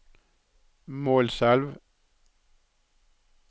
Målselv